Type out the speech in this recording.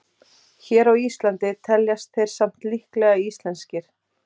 Hér á Íslandi teljast þeir samt líklega íslenskir.